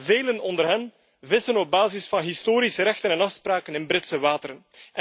Velen onder hen vissen op basis van historische rechten en afspraken in Britse wateren.